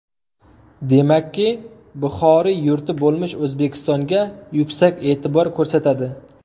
Demakki, Buxoriy yurti bo‘lmish O‘zbekistonga yuksak e’tibor ko‘rsatadi.